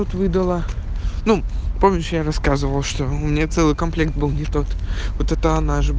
вот выдала ну помнишь я рассказывал что у меня целый комплект был не тот вот эта же